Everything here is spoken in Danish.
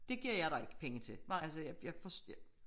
Det giver jeg dig ikke penge til altså jeg